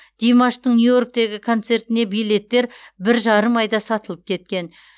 димаштың нью йорктегі концертіне билеттер бір жарым айда сатылып кеткен